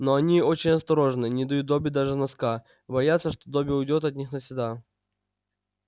но они очень осторожны не дают добби даже носка боятся что добби уйдёт от них навсегда